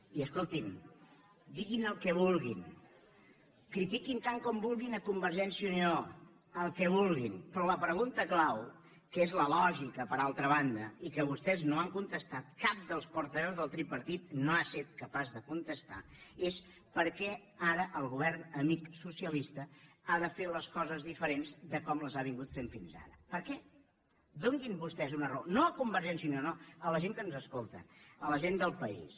i escolti’m diguin el que vulguin critiquin tant com vulguin a convergència i unió el que vulguin però la pregunta clau que és la lògica per altra banda i que vostès no han contestat cap dels portaveus del tripartit no ha set capaç de contestar la és per què ara el govern amic socialista ha de fer les coses diferents de com les ha fet fins ara per què donin vostès una raó no a convergència i unió no a la gent que ens escolta a la gent del país